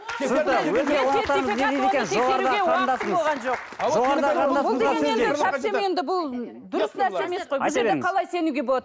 қалай сенуге болады